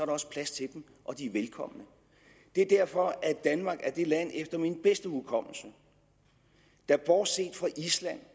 også plads til dem og de er velkomne det er derfor at danmark er det land efter min bedste hukommelse der bortset fra island